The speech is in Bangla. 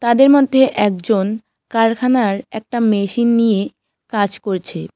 তাদের মধ্যে একজন কারখানার একটা মেশিন নিয়ে কাজ করছে।